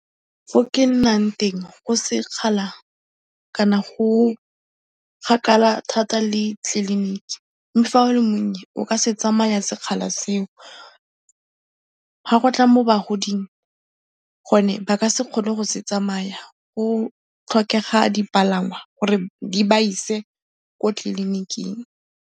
Fo ke nnang teng go sekgala kana go kgakala thata le tliliniki mme fa o le monnye o ka se tsamaya sekgala seo, fa go tla mo bagoding gone ba ka se kgone go se tsamay, go tlhokega dipalangwa gore di ba ise ko tleliniking.